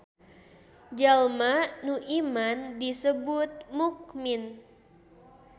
Jalma nu iman disebut mukmin.